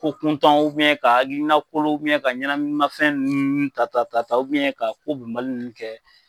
Ko kuntanw ka hakilinakolow ka ɲɛnaminimafɛn nunnu ta ta ta ka ko bɛnbali nunnu kɛ.